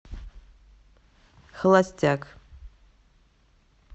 холостяк